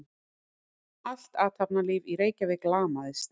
Allt athafnalíf í Reykjavík lamaðist.